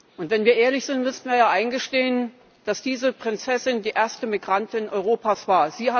Und wenn wir ehrlich sind, müssten wir ja eingestehen, dass diese Prinzessin die erste Migrantin Europas war.